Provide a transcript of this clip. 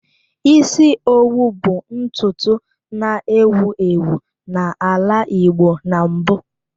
Isi owu bụ ntutu na-ewu ewu n'ala igbo na mbụ